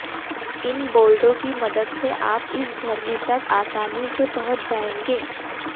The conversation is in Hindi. इन बोर्डों की मदद से आप इस झरने तक आसानी से पहुंच जाएंगे